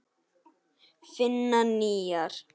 Finna nýjar.